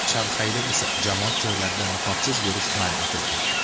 Shanxayda esa jamoat joylarida niqobsiz yurish man etilgan .